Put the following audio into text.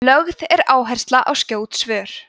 lögð er áhersla á skjót svör